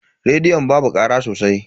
Rediyon babu kara sosai.